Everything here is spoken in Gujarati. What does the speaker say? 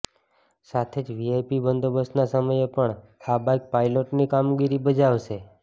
સાથે જ વીઆઈપી બંદોબસ્તના સમયે પણ આ બાઈક પાયલોટની કામગીરી બજાવશે